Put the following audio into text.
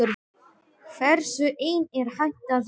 Hversu einn er hægt að verða?